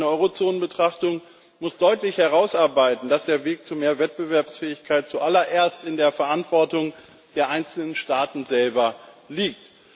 Eine Eurozonen Betrachtung muss deutlich herausarbeiten, dass der Weg zu mehr Wettbewerbsfähigkeit zuallererst in der Verantwortung der einzelnen Staaten selber liegt.